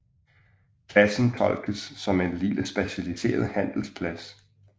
Pladsen tolkes som en lille specialiseret handelsplads